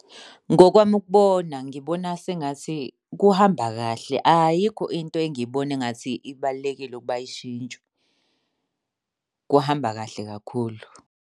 Ngokwami ukubona ngibona sengathi kuhamba kahle, ayikho into engiyibona engathi ibalulekile ukuba ishintshwe. Kuhamba kahle kakhulu.